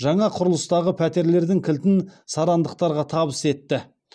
жаңа құрылыстағы пәтерлердің кілтін сарандықтарға табыс етті